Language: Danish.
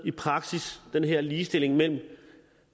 i praksis med den her ligestilling mellem